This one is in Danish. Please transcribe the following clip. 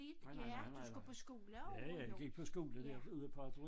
Nej nej nej nej nej ja ja jeg gik på skole derude på